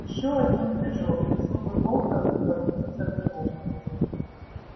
ещё один прыжок и зубы волка вопьются в него